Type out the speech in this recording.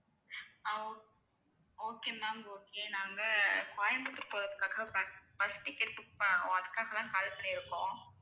அஹ் ok okay ma'am okay நாங்க அஹ் கோயம்புத்தூர் போறதுக்காக bus bus ticket book பண்ணணும் அதுக்காகதான் call பண்ணியிருக்கோம்